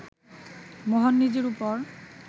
মোহন নিজের ওপর